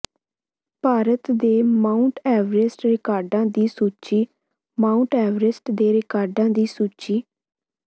ਭਾਰਤ ਦੇ Mount Everest ਰਿਕਾਰਡਾਂ ਦੀ ਸੂਚੀ ਮਾਉਂਟ ਐਵਰੈਸਟ ਦੇ ਰਿਕਾਰਡਾਂ ਦੀ ਸੂਚੀ